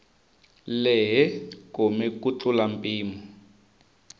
lehe kome ku tlula mpimo